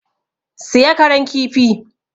Siya Karan kifi!